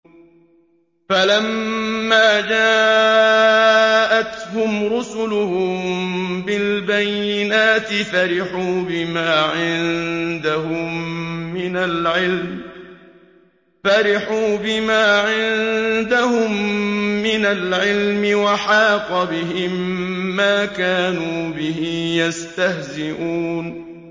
فَلَمَّا جَاءَتْهُمْ رُسُلُهُم بِالْبَيِّنَاتِ فَرِحُوا بِمَا عِندَهُم مِّنَ الْعِلْمِ وَحَاقَ بِهِم مَّا كَانُوا بِهِ يَسْتَهْزِئُونَ